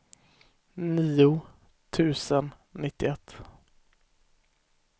nio tusen nittioett